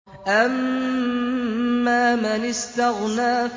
أَمَّا مَنِ اسْتَغْنَىٰ